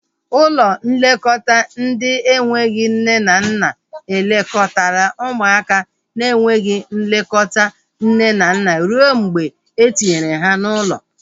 Ụlọ nlekọta ndị enweghị nne na nna elekọtala ụmụaka na enweghị nlekọta nne na nna rue mgbe etinyere ha n'ụlọ